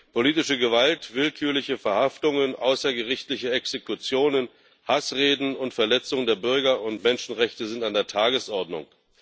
Politische Gewalt, willkürliche Verhaftungen, außergerichtliche Exekutionen, Hassreden und Verletzungen der Bürger und Menschenrechte sind an der Tagesordnung.